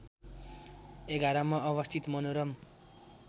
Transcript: ११ मा अवस्थित मनोरम